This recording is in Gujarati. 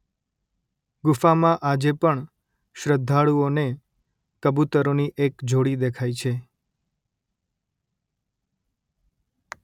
ગુફામાં આજે પણ શ્રદ્ધાળુઓને કબૂતરોની એક જોડી દેખાય છે